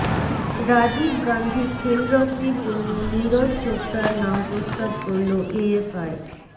রাজীব গান্ধি খেলরত্নের জন্য নীরজ চোপড়ার নাম প্রস্তাব করল এএফআই